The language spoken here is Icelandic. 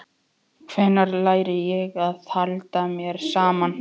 Hvenær læri ég að halda mér saman?